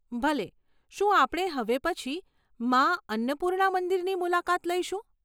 ભલે, શું આપણે હવે પછી મા અન્નપૂર્ણા મંદિરની મુલાકાત લઈશું?